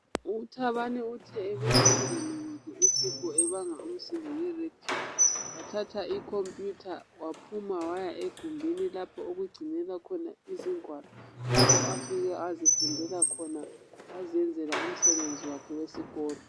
uThabani uthe ebona umngane wakhe uSipho ebanga umsindo nge Radio wathatha i computer waphuma waya egumbini lapho okugcinelwa khona izingwalo lapho afike wazifundela khona wazenzela umsebenzi wakhe wesikolo